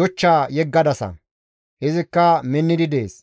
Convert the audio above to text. yochcha yeggadasa; izikka minnidi dees.